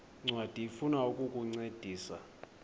ncwadi ifuna ukukuncedisa